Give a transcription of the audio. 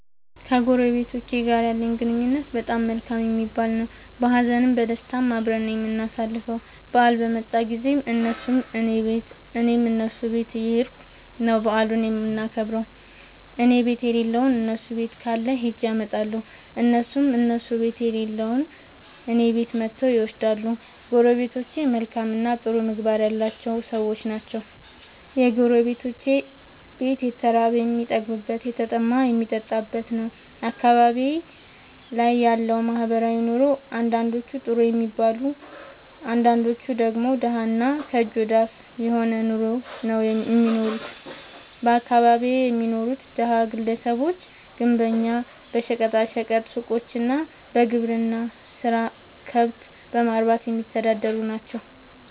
ከጎረቤቶቸ ጋር ያለኝ ግንኙነት በጣም መልካም የሚባል ነዉ። በሀዘንም በደስታም አብረን ነዉ የምናሣልፈዉ በአል በመጣ ጊዜም እነሡም ከኔ ቤት እኔም ከነሡ ቤት እየኸድኩ ነዉ በዓሉን የምናከብር እኔቤት የለለዉን እነሡ ቤት ካለ ኸጀ አመጣለሁ። እነሡም ከእነሡ ቤት የሌለዉን እኔ ቤት መጥተዉ ይወስዳሉ። ጎረቤቶቸ መልካምእና ጥሩ ምግባር ያላቸዉ ሠዎች ናቸዉ። የጎረቤቶቼ ቤት የተራበ የሚጠግብበት የተጠማ የሚጠጣበት ነዉ። አካባቢዬ ላይ ያለዉ ማህበራዊ ኑሮ አንዳንዶቹ ጥሩ የሚባል አንዳንዶቹ ደግሞ ደሀ እና ከእጅ ወደ አፍ የሆነ ኑሮ ነዉ እሚኖሩት በአካባቢየ የሚኖሩት ደሀ ግለሰቦች ግንበኛ በሸቀጣ ሸቀጥ ሡቆች እና በግብርና ስራ ከብት በማርባትየሚተዳደሩ ናቸዉ።